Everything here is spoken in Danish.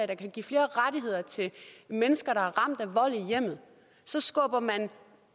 der kan give flere rettigheder til mennesker der er ramt af vold i hjemmet så skubber man